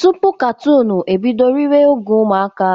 Tupu katoonụ ebido riwa oge ụmụaka,